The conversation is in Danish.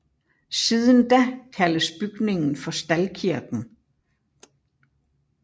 Siden da kaldes bygningen for Staldkirken